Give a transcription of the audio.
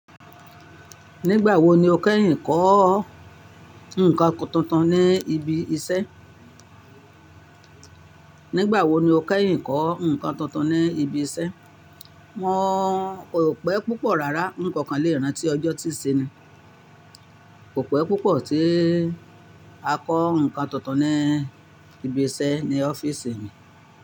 Nígbà wo ni o kẹ́yìn kọ́ nǹkan tuntun ní ibi iṣẹ́? Nígbà wo ni o kẹ́yìn kọ́ nǹkan tuntun ní ibi iṣẹ́? Wọ́n kò pẹ́ púpọ̀ rárá, ǹ ko kan lè rántí ọjọ́ tí ṣe ni. Kò pẹ́ púpọ̀ tí a kọ́ ǹkan tuntun ní ibi iṣẹ́ ní ọ́fíìsì mi.